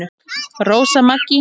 Rósa Maggý.